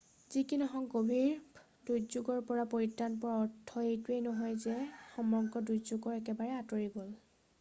যি কি নহওক গভীৰ দুৰ্যোগৰ পৰা পৰিত্ৰান পোৱাৰ অৰ্থ এইটো নহয় যে সমগ্ৰ দুৰ্যোগ একেবাৰে আঁতৰি গ'ল